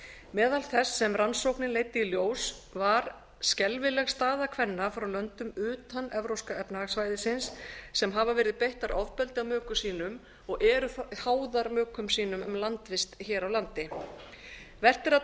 meðal þess sem rannsóknin leiddi í ljós var skelfileg staða kvenna frá löndum utan evrópska efnahagssvæðisins sem hafa verið beittar ofbeldi af mökum sínum og eru háðar mökum sínum um landvist hér á landi vert er að